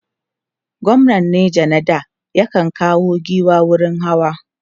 gwamnan neja na da ya kan kawo giwa wurin hawa